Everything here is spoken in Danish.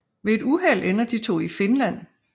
Ved et uheld ender de to i Finland